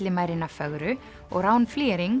Villimærina fögru og Rán